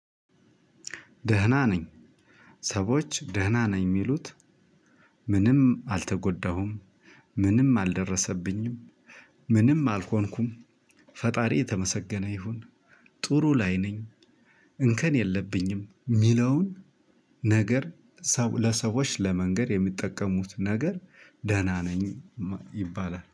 ደህና ነኝ። ሰዎች ደህና ነኝ የሚሉት። ምንም አልተጎዳሁም። ምንም አልደረሰብኝም። ምንም አልሆንኩም። ፈጣሪ የተመሰገነ ይሁን። ጥሩ ላይ ነኝ። እንከን የለብኝም የሚለውን። ነገር ሰው ለሰዎች ለመንገር የሚጠቀሙት ነገር ደህና ነኝ ይባላል